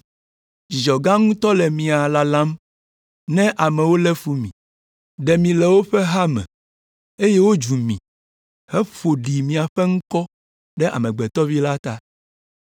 Dzidzɔ gã ŋutɔ le mia lalam, ne amewo lé fu mi, ɖe mi le woƒe ha me, eye wodzu mi, heƒo ɖi miaƒe ŋkɔ ɖe Amegbetɔ Vi la ta!